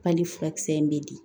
furakisɛ in bɛ di